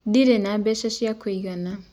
Ndĩrĩ na mbeca cĩa kũĩgana.